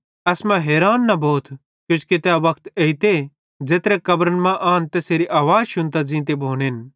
एसमां हैरान न भोथ किजोकि तै वक्त एइते कि ज़ेत्रे कब्रन मां आन तैसेरी आवाज़ शुन्तां ज़ींते भोनेन